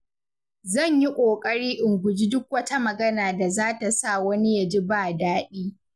Zan yi ƙoƙari in guji duk wata magana da zata sa wani ya ji ba daɗi.